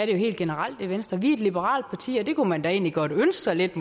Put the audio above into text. jo helt generelt i venstre vi er et liberalt parti og man da egentlig godt ønske sig lidt